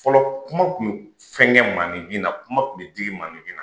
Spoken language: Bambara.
Fɔlɔ kuma tun bɛ fɛn kɛ maaninfin na kuma tun bɛ digi maaninfin na